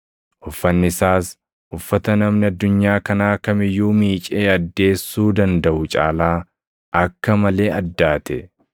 Uffanni isaas uffata namni addunyaa kanaa kam iyyuu miicee addeessuu dandaʼu caalaa akka malee addaate.